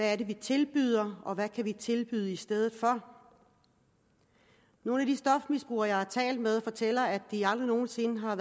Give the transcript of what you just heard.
er det vi tilbyder og hvad kan vi tilbyde i stedet for nogle af de stofmisbrugere jeg har talt med fortæller at de aldrig nogen sinde har